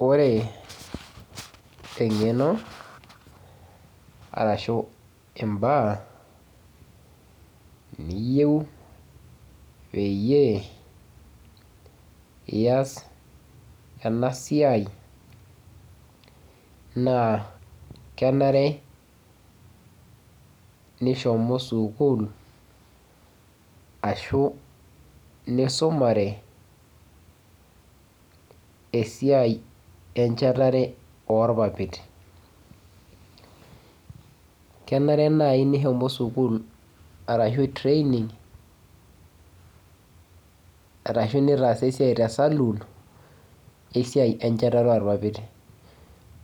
Wore eng'eno, arashu imbaa niyieu peeyie ias enasiai, naa kenare nishomo sukuul, ashu nisumare esiai enchatare oopapit. Kenare nai nishomo sukuul arashu training, arashu nitaasa esiai tesaluun, esiai enchetare orpapit.